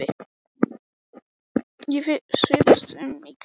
Ég svipast um í kringum mig.